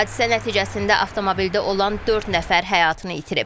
Hadisə nəticəsində avtomobildə olan dörd nəfər həyatını itirib.